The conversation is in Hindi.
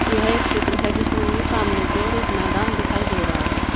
यह एक चित्र है जिसमें मुझे सामने की ओर एक मैदान दिखाई दे रहा है।